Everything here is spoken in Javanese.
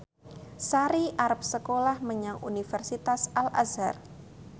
Sari arep sekolah menyang Universitas Al Azhar